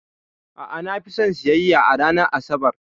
A'a, na fi son siyayya a ranar Asabar.